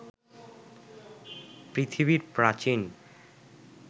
পৃথিবীর প্রাচীন